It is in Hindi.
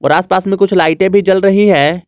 आसपास में कुछ लाइटें भी जल रही है।